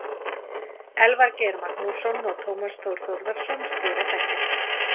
Elvar Geir Magnússon og Tómas Þór Þórðarson stýra þættinum.